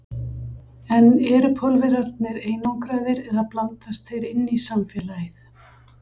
En eru Pólverjarnir einangraðir eða blandast þeir inn í samfélagið?